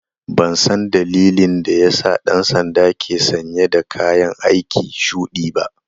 Ban san dalilin da ya sa ɗan sandan ke sanye dakayan aiki shuɗi ba.